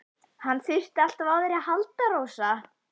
Hann þurfti alltaf á þér að halda, Rósa.